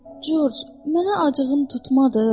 Corc, mənə acığın tutmadı?